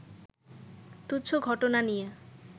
তুচ্ছ ঘটনা নিয়ে